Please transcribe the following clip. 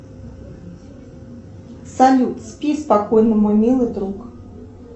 салют спи спокойно мой милый друг